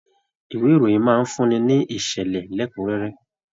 Ìwé ìròyìn máa fún ní ní ìṣẹlẹ lẹkunrẹrẹ.